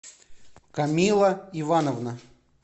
камила ивановна